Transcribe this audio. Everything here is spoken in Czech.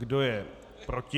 Kdo je proti?